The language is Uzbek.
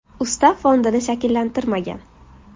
Ustav fondini shakllantirmagan.